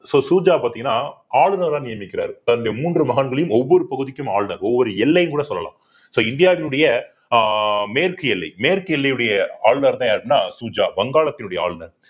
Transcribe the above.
so Shuja பாத்தீங்கன்னா ஆளுநரா நியமிக்கிறாரு தன்னுடைய மூன்று மகன்களையும் ஒவ்வொரு பகுதிக்கும் ஆளுநர் ஒவ்வொரு எல்லைன்னு கூட சொல்லலாம் so இந்தியாவினுடைய ஆஹ் மேற்கு எல்லை மேற்கு எல்லையுடைய ஆளுநர்தான் யாருன்னா சுஜா வங்காளத்தினுடைய ஆளுநர்